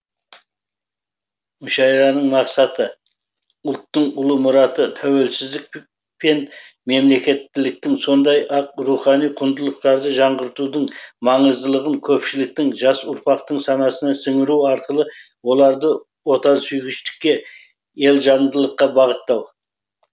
мүшәйраның мақсаты ұлттың ұлы мұраты тәуелсіздік пен мемлекеттіліктің сондай ақ рухани құндылықтарды жаңғыртудың маңыздылығын көпшіліктің жас ұрпақтың санасына сіңіру арқылы оларды отансүйгіштікке елжандылыққа бағыттау